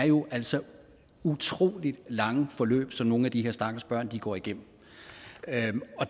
jo altså er utrolig lange forløb som nogle af de her stakkels børn går igennem